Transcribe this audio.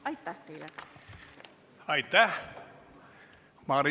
Aitäh teile!